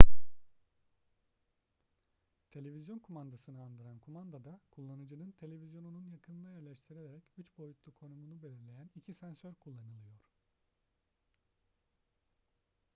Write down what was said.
televizyon kumandasını andıran kumandada kullanıcının televizyonunun yakınına yerleştirilerek üç boyutlu konumunu belirleyen iki sensör kullanılıyor